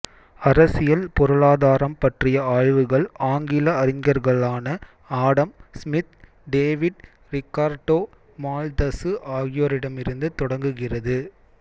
அரசியல் பொருளாதாரம் பற்றிய ஆய்வுகள் ஆங்கில அறிஞர்களான Adam Smith David Ricardo Malthus ஆகியோரிடமிருந்து தொடங்குகிறது